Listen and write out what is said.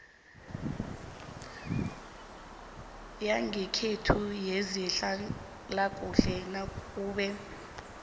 yangekhenu yezehlalakuhle nakube